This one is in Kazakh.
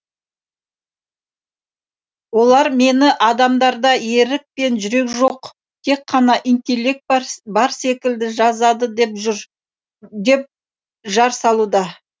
олар мені адамдарда ерік пен жүрек жоқ тек қана интеллект бар секілді жазады деп жар салуда